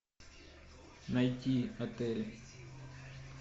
найти отель